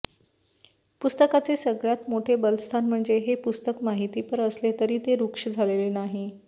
पुस्तकाचे सगळ्यात मोठे बलस्थान म्हणजे हे पुस्तक माहितीपर असले तरी ते रूक्ष झालेले नाही